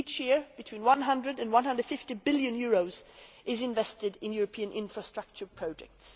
Each year between EUR100 and 150 billion is invested in European infrastructure projects.